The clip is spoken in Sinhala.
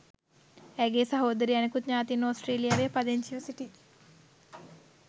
ඇයගේ සහෝදරිය අනිකුත් ඥාතීන් ඔස්ට්‍රේලියාවේ පදිංචිව සිටි